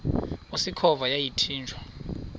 usikhova yathinjw a